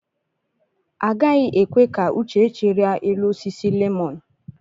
Agaghị ekwe ka Uchechi rịa elu osisi lemọn.